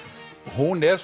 hún er